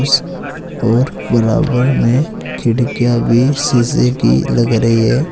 और बराबर में खिड़कियां भी सीसे की लग रही है।